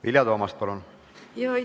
Vilja Toomast, palun!